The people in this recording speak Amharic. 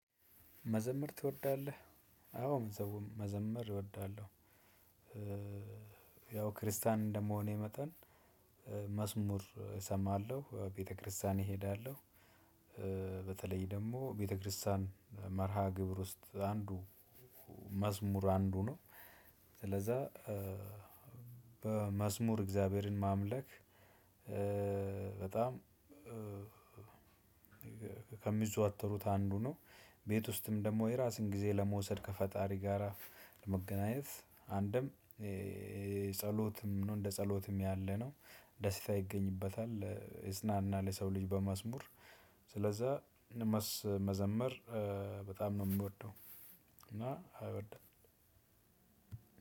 መዘመር ትወዳለህ? አዎ መዘመር እወዳለሁ። ያው ክርስቲያን እንደመሆኔ መጠን መዝሙር እሰማለሁ ቤተክርስቲያን እሄዳለሁ። ደግሞ ቤተክርስቲያን መርሃ ግብር ውስጥ አንዱ መዝሙር አንዱ ነው። ስለዛ በመዝሙር እግዚአብሔርን ማምለክ። በጣም ከሚዘዋተሩት አንዱ ነው። ቤት ውስጥም ደግሞ የራሴን ጊዜ ለመውሰድ ከፈጣሪ ጋራ ለመገናኘት አንድም ጸሎትም ነው። እንደ ጸሎትም ያለነው ደስታ ይገኝበታል ይጽናናል። የሰው ልጅ በመዝሙር ስለዛ መዘመር በጣም ነው የምወደው። እና አይወድም።